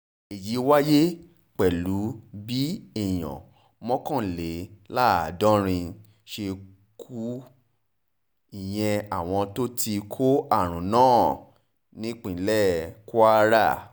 èyí wáyé pẹ̀lú bí èèyàn mọ́kànléláàádọ́rin ṣe kún iye àwọn tó ti kó àrùn náà nípínlẹ̀ kwara